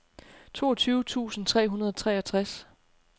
toogtyve tusind tre hundrede og treogtres